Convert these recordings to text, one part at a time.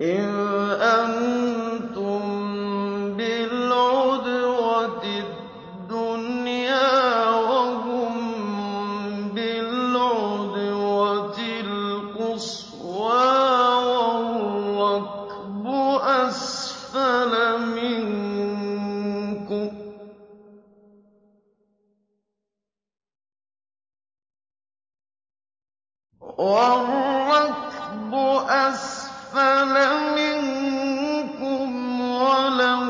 إِذْ أَنتُم بِالْعُدْوَةِ الدُّنْيَا وَهُم بِالْعُدْوَةِ الْقُصْوَىٰ وَالرَّكْبُ أَسْفَلَ مِنكُمْ ۚ وَلَوْ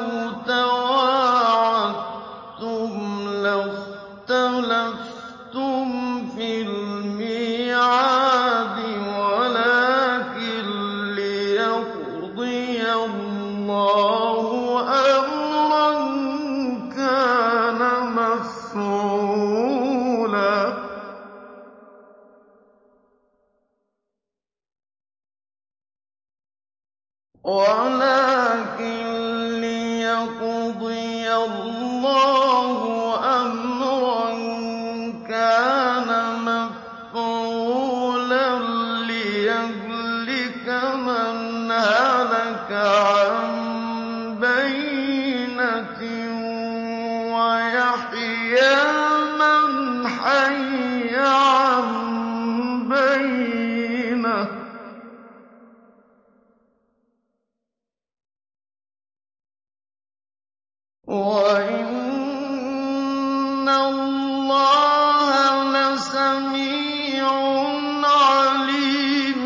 تَوَاعَدتُّمْ لَاخْتَلَفْتُمْ فِي الْمِيعَادِ ۙ وَلَٰكِن لِّيَقْضِيَ اللَّهُ أَمْرًا كَانَ مَفْعُولًا لِّيَهْلِكَ مَنْ هَلَكَ عَن بَيِّنَةٍ وَيَحْيَىٰ مَنْ حَيَّ عَن بَيِّنَةٍ ۗ وَإِنَّ اللَّهَ لَسَمِيعٌ عَلِيمٌ